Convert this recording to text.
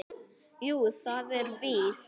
Jú, það er víst.